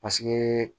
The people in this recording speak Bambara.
Paseke